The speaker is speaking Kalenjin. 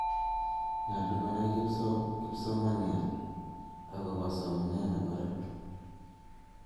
nyoluu konai kipsomanian akubo somnee nebo ra